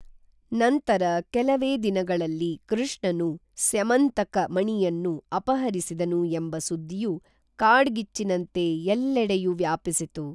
ನಂತರ ಕೇಲವೇ ದಿನಗಳಲ್ಲಿ ಕೃಷ್ಣನು ಸ್ಯಮಂತಕ ಮಣಿಯನ್ನು ಅಪಹರಿಸಿದನು ಎಂಬ ಸುದ್ದಿಯು ಕಾಡ್ಗಿಚ್ಚಿನಂತೆ ಎಲ್ಲೆಡೆಯೂ ವ್ಯಾಪಿಸಿತು